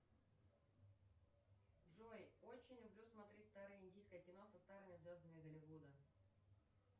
джой очень люблю смотреть старое индийское кино со старыми звездами голливуда